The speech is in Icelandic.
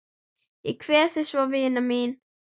Ég kveð þig svo vina mín.